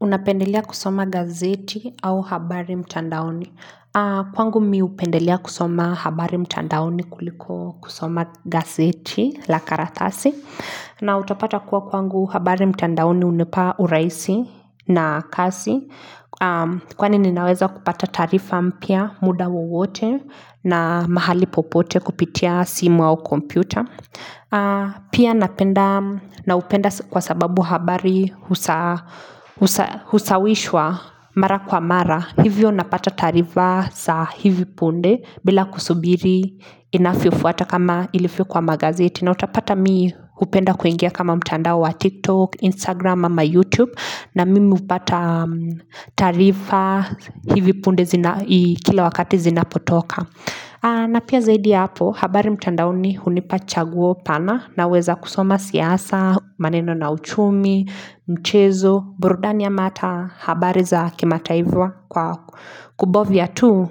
Unapendelea kusoma gazeti au habari mtandaoni? Kwangu mimi hupendelea kusoma habari mtandaoni kuliko kusoma gazeti la karatasi. Na utapata kuwa kwangu habari mtandaoni hunipa urahisi na kasi. Kwani ninaweza kupata taarifa mpya muda wowote na mahali popote kupitia simu au kompyuta. Pia naupenda kwa sababu habari husawishwa mara kwa mara. Hivyo napata taarifa saa hivi punde bila kusubiri inavyofuata kama ilivyo kwa magazeti. Na utapata mimi hupenda kuingia kama mtandao wa TikTok, Instagram ama YouTube, na mimi hupata taarifa hivi punde kila wakati zinapotoka na pia zaidi hapo habari mtandaoni hunipa chaguo pana. Naweza kusoma siasa, maneno na uchumi, mchezo, burudani ama hata habari za kimataifa kwa kubofya tu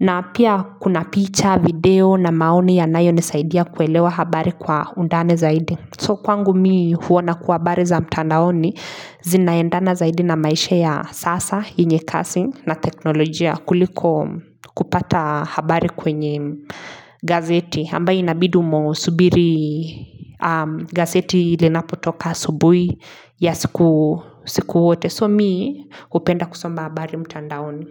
na pia kuna picha, video na maoni yanayonisaidia kuelewa habari kwa undani zaidi. So kwangu mimi huona kuwa habari za mtandaoni zinaendana zaidi na maisha ya sasa yenye casting na teknolojia kuliko kupata habari kwenye gazeti ambaye inabidi umesubiri gazeti linapotoka asubuhi ya siku yote so mimi hupenda kusoma habari mtandaoni.